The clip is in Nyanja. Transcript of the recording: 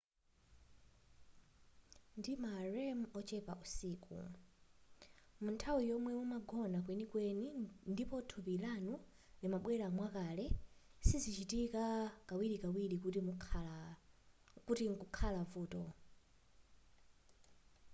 ndi ma rem ochepa usiku munthawi yomwe mumagona kwenikweni ndipo thupi lanu limabwelera mwakale sizichitika kawirikawiri kuti mkukhala vuto